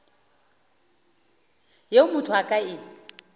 yeo motho a ka e